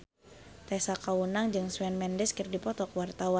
Tessa Kaunang jeung Shawn Mendes keur dipoto ku wartawan